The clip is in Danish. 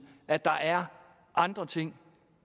at der er andre ting